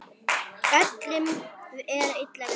Öllum er illa við þig!